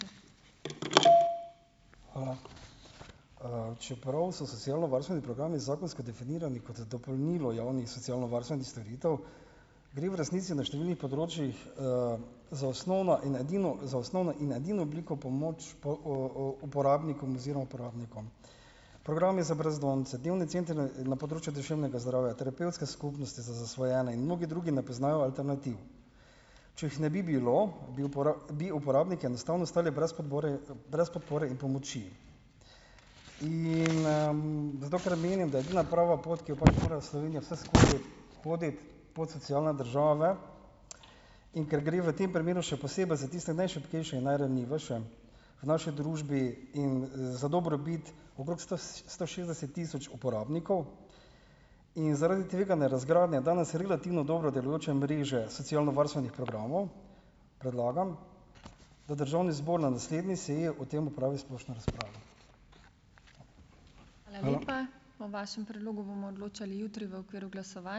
Hvala. Čeprav so socialnovarstveni programi zakonsko definirani kot dopolnilo javnih socialnovarstvenih storitev, gre v resnici v številnih področjih, za osnovna in edino za osnovna in edino obliko pomoči uporabnikom oziroma uporabnikom. Programi za brezdomce, dnevni centri na, na področju duševnega zdravja, terapevtske skupnosti za zasvojene in mnogi drugi ne poznajo alternativ. Če jih ne bi bilo, bi bi uporabniki enostavno ostali brez podpore, brez podpore in pomoči. In, zato ker menim, da je edina prava pot, ki jo pač mora Slovenija vseskozi hoditi , pot socialne države, in ker gre v tem primeru še posebej za tiste najšibkejše in najranljivejše v naši družbi in za dobrobit okrog sto šestdeset tisoč uporabnikov in zaradi tveganja razgradnje danes relativno dobro delujoče mreže socialnovarstvenih programov, predlagam, da državni zbor na naslednji seji o tem opravi splošno razpravo.